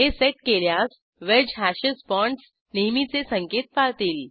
हे सेट केल्यास wedge hashes bonds नेहमीचे संकेत पाळतील